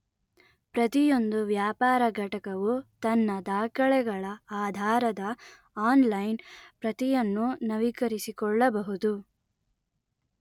ಪ್ರತಿಯೊಂದು ವ್ಯಾಪಾರ ಘಟಕವು ತನ್ನ ದಾಖಲೆಗಳ ಆಧಾರದ ಆನ್ಲೈನ್ ಪ್ರತಿಯನ್ನು ನವೀಕರಿಸಿಕೊಳ್ಳಬಹುದು